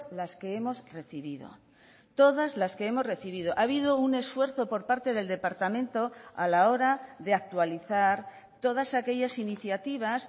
las que hemos recibido todas las que hemos recibido ha habido un esfuerzo por parte del departamento a la hora de actualizar todas aquellas iniciativas